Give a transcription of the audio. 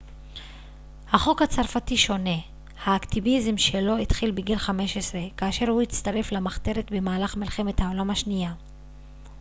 החוק הצרפתי שונה האקטיביזם שלו התחיל בגיל 15 כאשר הוא הצטרף למחתרת במהלך מלחמת העולם השנייה